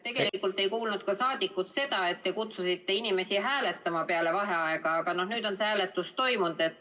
Tegelikult ei kuulnud rahvasaadikud ka seda, et te kutsusite inimesi hääletama peale vaheaega, aga nüüd on see hääletus toimunud.